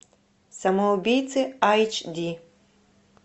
самоубийцы айч ди